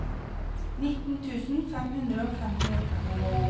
nitten tusen fem hundre og femtiåtte